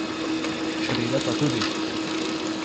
Čreda pa tudi.